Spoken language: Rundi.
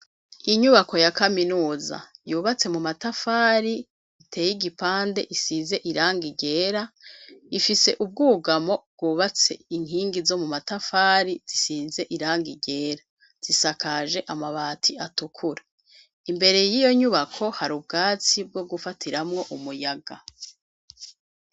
Inyubako ya kaminuza yubatse mu matafari iteye igipande isize irangi ryera ifise ubwugamo bwubatse inkingi zo mu matafari zisize iranga ryera, zisakaje amabati atukura, imbere y'iyo nyubako hari ubwatsi bwo gufatiramwo umuyaga.